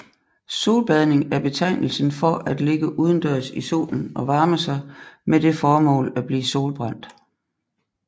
Solbadning er betegnelsen for at ligge udendørs i solen og varme sig med det formål at blive solbrændt